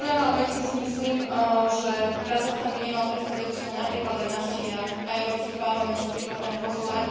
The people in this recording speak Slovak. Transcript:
Takisto si myslím, že Kazachstan by nemal trestať občanov, napríklad ak navštívia aj Európsky parlament, čo je prípad pána Kozlova.